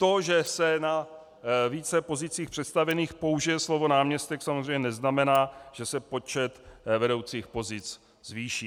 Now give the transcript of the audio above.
To, že se na více pozicích představených použije slovo náměstek, samozřejmě neznamená, že se počet vedoucích pozic zvýší.